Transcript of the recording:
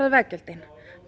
veggjöldin